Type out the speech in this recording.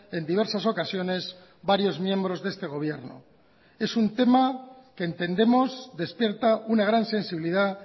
en diversas ocasiones varios miembros de este gobierno es un tema que entendemos despierta una gran sensibilidad